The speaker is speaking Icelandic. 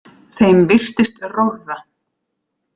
Þeim virtist rórra.